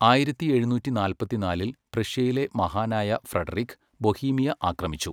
ആയിരത്തി എഴുന്നൂറ്റി നാല്പത്തിനാലിൽ പ്രഷ്യയിലെ മഹാനായ ഫ്രെഡറിക് ബൊഹീമിയ ആക്രമിച്ചു.